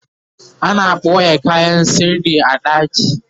ana ɓoye kayan sirri a ɗaki